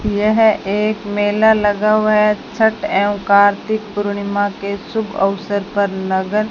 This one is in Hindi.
यह एक मेला लगा हुआ है छठ एवं कार्तिक पूर्णिमा के शुभ अवसर पर लगन --